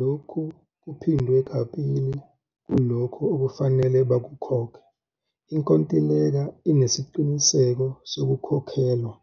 Lokhu kuphindwe kabili kulokho okufanele bakukhokhe. Inkontileka inesiqiniseko sokukhokhelwa,